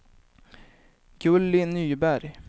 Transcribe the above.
Gulli Nyberg